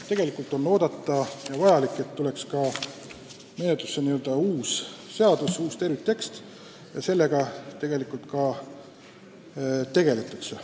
Tegelikult tuleks luua n-ö uus seadus, uus terviktekst, ja sellega ka tegeldakse.